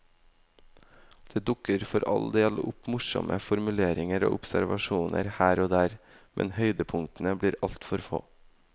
Det dukker for all del opp morsomme formuleringer og observasjoner her og der, men høydepunktene blir altfor få.